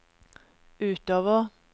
utover